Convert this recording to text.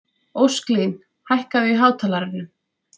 Ósklín, hækkaðu í hátalaranum.